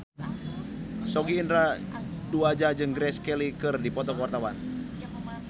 Sogi Indra Duaja jeung Grace Kelly keur dipoto ku wartawan